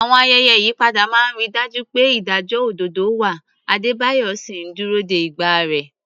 Àwọn ayẹyẹ ìyípadà máa ń rí i dájú pé ìdájọ́ òdodo wà, Adebayo sì ń dúró de ìgbà rẹ̀.